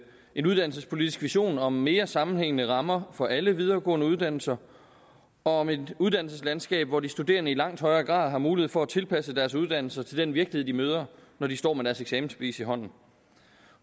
en uddannelsespolitisk vision om mere sammenhængende rammer for alle videregående uddannelser og om et uddannelseslandskab hvor de studerende i langt højere grad har mulighed for at tilpasse deres uddannelser til den virkelighed de møder når de står med deres eksamensbevis i hånden